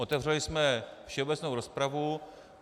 Otevřeli jsme všeobecnou rozpravu.